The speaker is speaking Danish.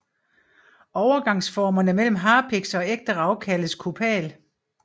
Overgangsformerne mellem harpiks og ægte rav kaldes kopal